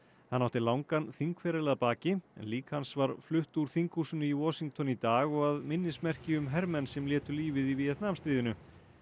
hann átti langan þingferil að baki lík hans var flutt úr þinghúsinu í Washington í dag og að minnismerki um hermenn sem létu lífið í Víetnamstríðinu